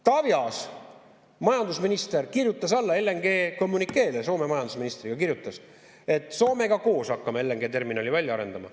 Taavi Aas, majandusminister, kirjutas alla LNG-kommünikeele, Soome majandusministriga koos kirjutas, et Soomega koos hakkame LNG-terminali välja arendama.